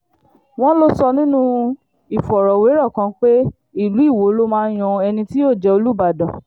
wọ́n lọ sọ nínú ìfọ̀rọ̀wérọ̀ kan pé ìlú iwọ ló máa ń yan ẹni tí yóò jẹ́ olùbàdàn